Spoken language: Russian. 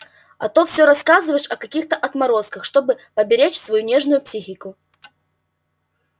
а то всё рассказываешь о каких-то отморозках чтобы поберечь свою нежную психику